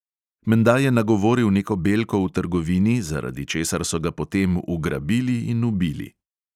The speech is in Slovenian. Menda je nagovoril neko belko v trgovini, zaradi česar so ga potem ugrabili in ubili.